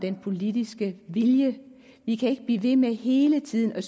den politiske vilje vi kan ikke blive ved med hele tiden at